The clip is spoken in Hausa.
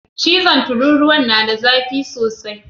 Cizon tururuwan na da zafi sosai.